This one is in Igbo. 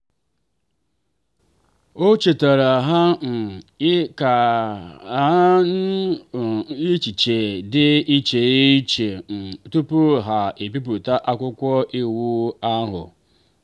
o chetaara ha um ka ha tinye um echiche dị iche iche um tupu ha ebipụta akwụkwọ iwu ahụ.